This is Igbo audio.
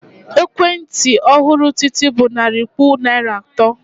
Ekwentị ọhụrụ Titi bụ narị puku naira atọ.